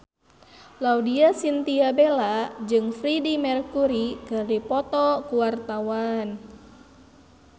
Laudya Chintya Bella jeung Freedie Mercury keur dipoto ku wartawan